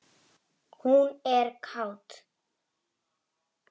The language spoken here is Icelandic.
Hún er kát.